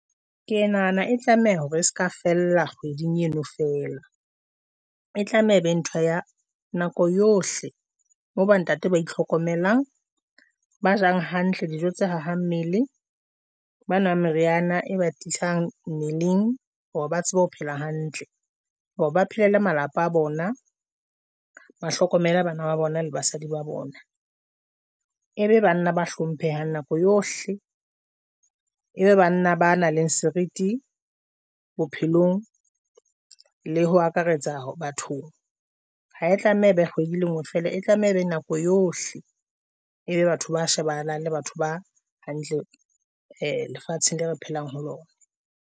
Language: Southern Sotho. Ke ya nahana e tlameha hore e se ka fella kgweding eno fela, e tlameha e be ntho ya nako yohle. Moo bontate ba itlhokomelang, ba jang hantle dijo tse hahang mmele. Ba nwang meriana e ba tiisang mmeleng hore ba tsebe ho phela hantle hore ba phelele malapa a bona, ba hlokomela bana ba bona le basadi ba bona, e be banna ba hlomphehang nako yohle, e be banna ba nang le seriti bophelong, le ho akaretsa bathong ha e tlameha e be kgwedi le ngwe fela. E tlameha ebe nako yohle ebe batho ba shebana le batho ba hantle lefatsheng la re phelang ho lona.